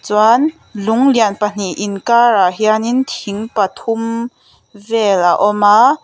chuan lung lian pahnih inkarah hianin thing pathum vel a awm a.